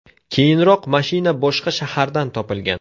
Keyinroq mashina boshqa shahardan topilgan.